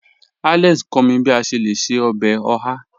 Alex n kọ̀ mí bí à ṣè lẹ̀ ṣẹ̀ ọbẹ́ ọ̀hà.